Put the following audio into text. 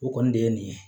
O kɔni de ye nin ye